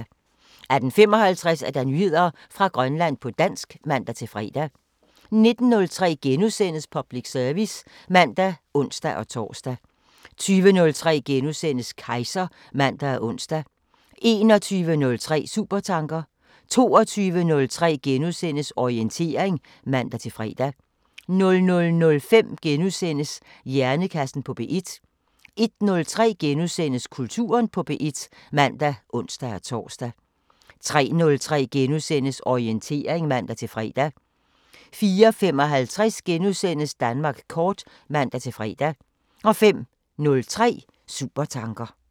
18:55: Nyheder fra Grønland på dansk (man-fre) 19:03: Public service *(man og ons-tor) 20:03: Kejser *(man og ons) 21:03: Supertanker 22:03: Orientering *(man-fre) 00:05: Hjernekassen på P1 * 01:03: Kulturen på P1 *(man og ons-tor) 03:03: Orientering *(man-fre) 04:55: Danmark kort *(man-fre) 05:03: Supertanker